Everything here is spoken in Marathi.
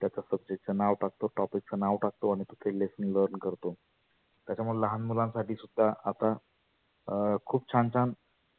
त्याच्या subject चं नाव टाकतो topic च नाव टाकतो आणि तो learn करतो. त्याचा मला लहान मुलांसाठी आता अं खुप छान छान